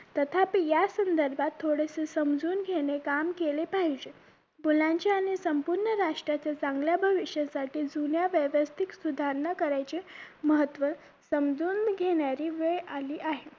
तथापि यासंदर्भात थोडासं समजून घेणे काम केले पाहिजे मुलांच्या आणि संपूर्ण राष्ट्राच्या चांगल्या भविष्यासाठी जुन्या व्यवस्थित सुधारणा करायचे महत्व समजून घेणारी वेळ आली आहे